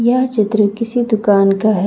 यह चित्र किसी दुकान का है।